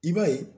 I b'a ye